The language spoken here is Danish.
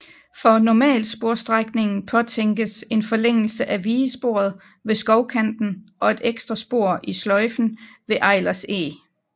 For normalsporsstrækningen påtænkes en forlængelse af vigesporet ved Skovkanten og et ekstra spor i sløjfen ved Eilers Eg